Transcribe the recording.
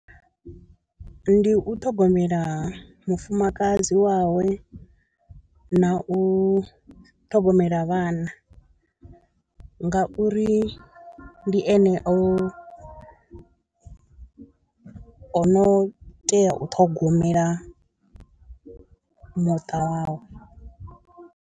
Ndi u ṱhogomela mufumakadzi wawe na u ṱhogomela vhana ngauri ndi ene u o, o no tea u ṱhogomela muṱa wavho.